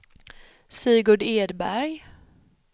Sigurd Edberg